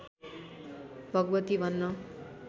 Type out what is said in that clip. भगवती भन्न